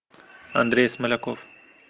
андрей смоляков